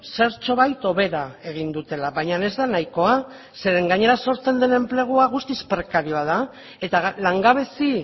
zertxobait hobera egin dutela baina ez da nahikoa zeren gainera sortzen den enplegua guztiz prekarioa da eta langabezi